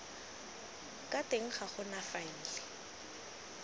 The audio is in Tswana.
ka teng ga gona faele